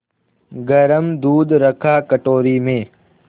गरम दूध रखा कटोरी में